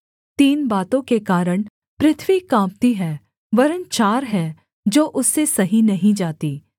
तीन बातों के कारण पृथ्वी काँपती है वरन् चार हैं जो उससे सही नहीं जातीं